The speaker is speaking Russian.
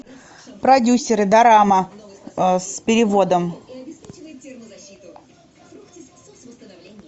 продюсеры дорама с переводом